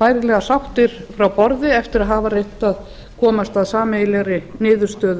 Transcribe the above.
bærilega sáttir frá borði eftir að hafa reynt að komast að sameiginlegri niðurstöðu